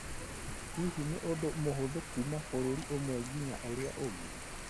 Hihi nĩ ũndũ mũhũthũ kuuma bũrũri ũmwe nginya ũrĩa ũngĩ?